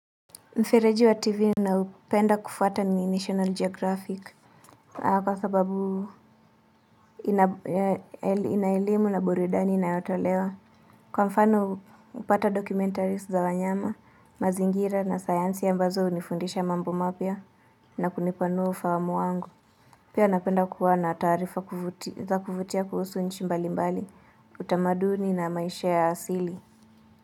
Mfereji wa tivi ninaoupenda kufuata ni National Geographic. Kwa sababu ina elimu na burudani inayotolewa. Kwa mfano upata documentaries za wanyama, mazingira na sayansi ambazo unifundisha mambo mapya na kunipanua ufahamu wangu. Pia napenda kuwa na taarifa za kuvutia kuhusu nchi mbali mbali, utamaduni na maisha ya asili.